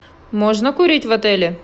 можно курить в отеле